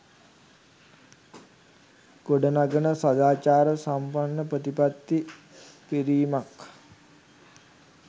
ගොඩනගන සදාචාර සම්පන්න ප්‍රතිපත්ති පිරීමක්